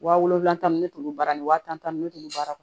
Wa wolonwula ni ne tun bɛ baara nin wa tan ni duuru ne tun bɛ baara kɛ